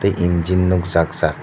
e engine nok jak jak.